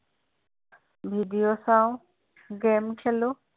video চাওঁ game খেলোঁ